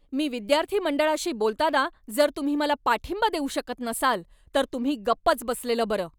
मी विद्यार्थी मंडळाशी बोलताना जर तुम्ही मला पाठिंबा देऊ शकत नसाल, तर तुम्ही गप्पच बसलेलं बरं.